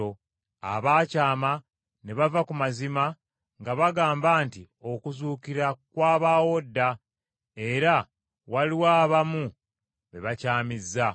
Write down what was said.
abaakyama ne bava ku mazima, nga bagamba nti okuzuukira kwabaawo dda, era waliwo abamu be bakyamizza.